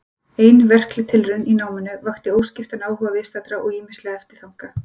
Ein verkleg tilraun í náminu vakti óskiptan áhuga viðstaddra og ýmislega eftirþanka.